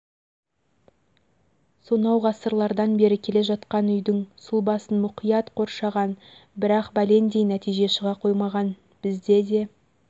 сонау ғасырлардан бері келе жатқан үйдің сұлбасын мұқият қоршаған бірақ бәлендей нәтиже шыға қоймаған бізде де